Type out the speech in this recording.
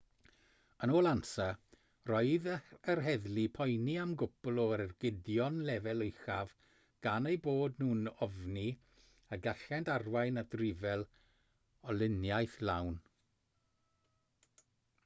yn ôl ansa roedd yr heddlu'n poeni am gwpl o ergydion lefel uchaf gan eu bod nhw'n ofni y gallent arwain at ryfel olyniaeth lawn